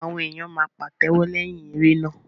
Awọn èyán máa pàtéwọ́ leyin eré náà.